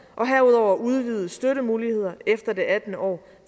og herudover udvidede støttemuligheder efter det attende år